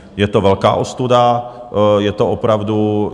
Je to velká ostuda, je to opravdu...